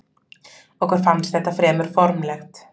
Okkur fannst þetta fremur formlegt.